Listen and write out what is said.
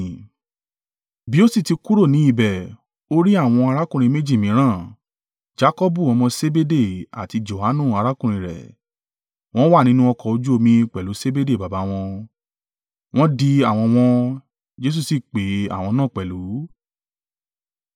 Bí ó sì ti kúrò ní ibẹ̀, ò rí àwọn arákùnrin méjì mìíràn, Jakọbu ọmọ Sebede àti Johanu, arákùnrin rẹ̀. Wọ́n wà nínú ọkọ̀ ojú omi pẹ̀lú Sebede baba wọn, wọ́n ń di àwọ̀n wọn, Jesu sì pè àwọn náà pẹ̀lú.